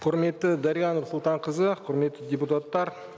құрметті дариға нұрсұлтанқызы құрметті депутаттар